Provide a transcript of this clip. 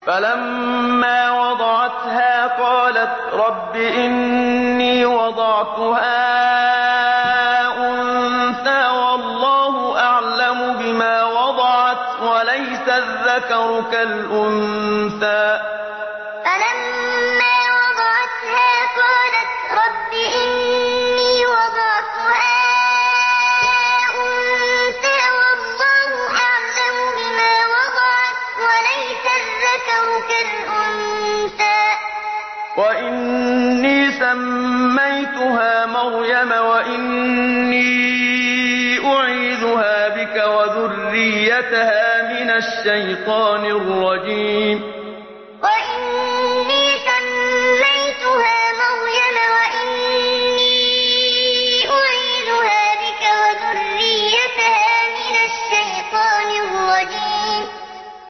فَلَمَّا وَضَعَتْهَا قَالَتْ رَبِّ إِنِّي وَضَعْتُهَا أُنثَىٰ وَاللَّهُ أَعْلَمُ بِمَا وَضَعَتْ وَلَيْسَ الذَّكَرُ كَالْأُنثَىٰ ۖ وَإِنِّي سَمَّيْتُهَا مَرْيَمَ وَإِنِّي أُعِيذُهَا بِكَ وَذُرِّيَّتَهَا مِنَ الشَّيْطَانِ الرَّجِيمِ فَلَمَّا وَضَعَتْهَا قَالَتْ رَبِّ إِنِّي وَضَعْتُهَا أُنثَىٰ وَاللَّهُ أَعْلَمُ بِمَا وَضَعَتْ وَلَيْسَ الذَّكَرُ كَالْأُنثَىٰ ۖ وَإِنِّي سَمَّيْتُهَا مَرْيَمَ وَإِنِّي أُعِيذُهَا بِكَ وَذُرِّيَّتَهَا مِنَ الشَّيْطَانِ الرَّجِيمِ